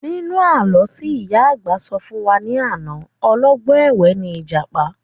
Nínú àlọ́ tí ìyá àgbà sọ fún wa ní àná, ọlọ́gbọ́n ẹ̀wẹ́ ni ìjàpá